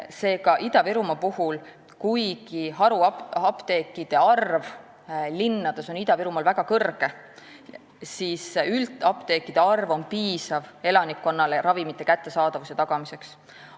Seega, kuigi haruapteekide arv linnades on Ida-Virumaal väga suur, on üldapteekide arv piisav elanikkonnale ravimite kättesaadavuse tagamiseks.